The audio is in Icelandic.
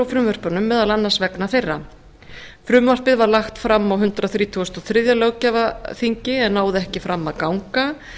frumvörpunum meðal annars vegna þeirra frumvarpið var lagt fram á hundrað þrítugasta og þriðja löggjafarþingi en náði ekki fram að ganga